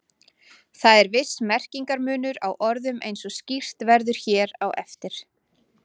Þó er viss merkingarmunur á orðunum eins og skýrt verður hér á eftir.